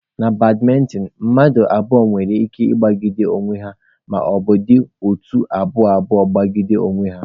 Na badmịntịn, mmadụ abụọ nwere ike ịgbagide onwe ha maọbụ ha dị otu abụọ abụọ gbagide onwe ha.